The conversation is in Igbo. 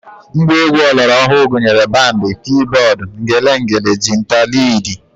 Ngwa egwu ọlọrọọhụụ gụnyere bandị, kiibọọd, ngelengele, jinta, liidi